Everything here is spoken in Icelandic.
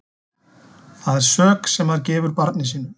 Það er sök sem maður gefur barni sínu.